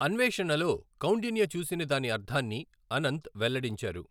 అన్వేషణలో కౌండిన్య చూసిన దాని అర్థాన్ని అనంత్ వెల్లడించారు.